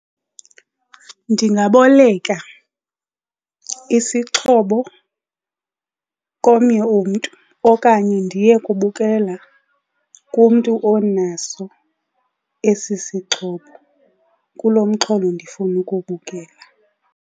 Ndingaboleka isixhobo komnye umntu okanye ndiye kubukela kumntu onaso esi isixhobo kulo mxholo ndifuna ukuwubukela.